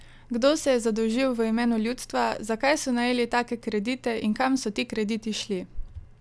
Kdo se je zadolžil v imenu ljudstva, za kaj so najeli take kredite in kam so ti krediti šli?